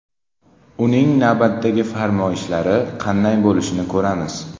Uning navbatdagi farmoyishlari qanday bo‘lishini ko‘ramiz.